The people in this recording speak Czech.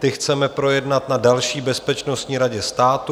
Ty chceme projednat na další bezpečnostní radě státu.